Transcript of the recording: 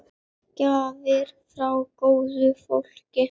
Gjafir frá góðu fólki.